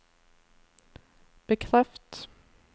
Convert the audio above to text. bekreft